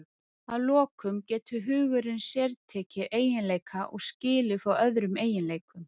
Að lokum getur hugurinn sértekið eiginleika og skilið frá öðrum eiginleikum.